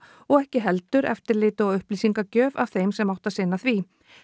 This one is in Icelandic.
og ekki heldur eftirliti og upplýsingagjöf af þeim sem áttu að sinna því